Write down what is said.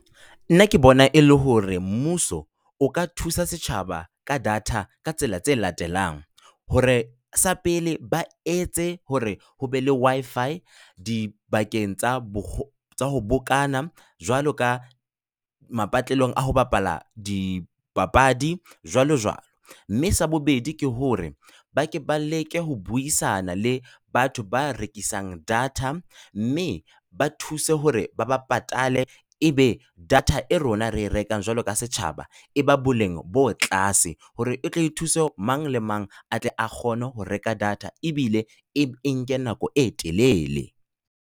Nna ke bona e le hore mmuso o ka thusa setjhaba ka data ka tsela tse latelang. Hore, sa pele ba etse hore ho be le Wi-fi dibakeng tsa tsa ho bokana, jwalo ka mapatlelong a ho bapala dipapadi jwalo jwalo. Mme sa bobedi ke hore, ba ke ba leke ho buisana le batho ba rekisang data, mme ba thuse hore ba ba patale. Ebe data e rona re e rekang jwalo ka setjhaba, e ba boleng bo tlase hore e tle e thuse mang le mang a tle a kgone ho reka data ebile e nke nako e telele.